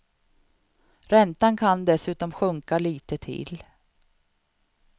Räntan kan dessutom sjunka lite till.